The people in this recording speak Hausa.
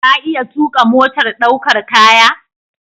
Ka iya tuƙa motar ɗaukar kaya?